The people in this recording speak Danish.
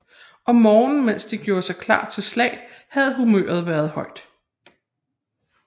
Om morgenen mens de gjorde sig klar til slag havde humøret været højt